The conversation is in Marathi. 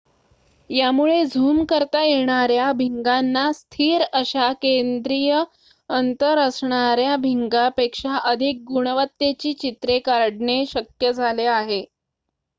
यामुळे झूम करता येणाऱ्या भिंगाना स्थिर अशा केद्रीय अंतर असणाऱ्या भिंगापेक्षा अधिक गुणवत्तेची चित्रे काढणे शक्य झाले आहे